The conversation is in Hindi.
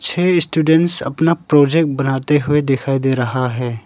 छह स्टूडेंट्स अपना प्रोजेक्ट बनाते हुए दिखाई दे रहा है।